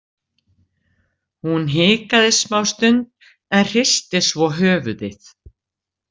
Hún hikaði smástund en hristi svo höfuðið.